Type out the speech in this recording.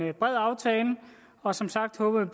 en bred aftale og som sagt håber